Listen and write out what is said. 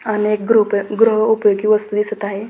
अनेक गृप गृह उपयोगी वस्तू दिसत आहे.